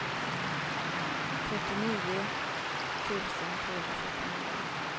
trettionio tusen trehundrafyrtionio